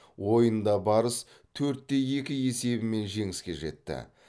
ойында барыс төртте екі есебімен жеңіске жетті